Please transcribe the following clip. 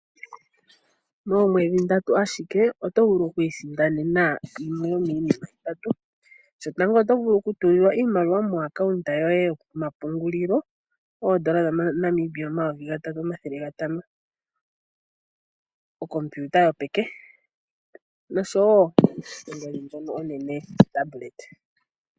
Moomwedhi ndatu ashike oto vulu okusindana yimwe yomiinima itatu shotango oto vulu okutulilwa iimaliwa komapungulilo goye gombaanga oondola dhaNamibia omayovi gatatu nomathele gatano, okompiuta yopeke oshowo, ongodhi onene yotableta.